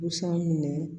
Busan minɛ